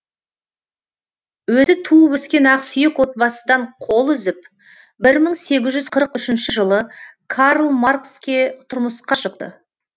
өзі туып өскен ақсүйек отбасыдан қол үзіп бір мың сегіз жүз қырық үшінші жылы карл маркске тұрмысқа шықты